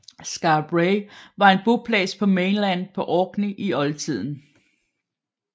Skara Brae var en boplads på Mainland på Orkney i oldtiden